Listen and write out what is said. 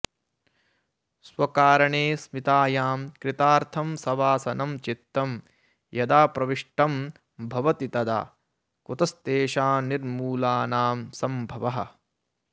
स्वकारणेऽस्मितायां कृतार्थं सवासनं चित्तं यदा प्रविष्टं भवति तदा कुतस्तेषां निर्मूलानां सम्भवः